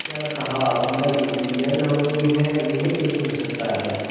क्या कहा model injured हो गई है यह कैसे हो सकता है